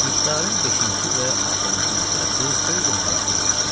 İxtarın beşinci və axırıncı məsələsi xeyli maraqlı bir məsələdir.